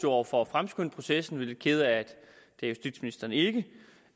over for at fremskynde processen vi er lidt kede af at justitsministeren ikke